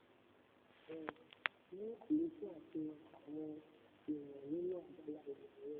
èyí um mú àlékún àfihàn àwọn èèyàn nínú abala ìmọ̀-ẹ̀rọ.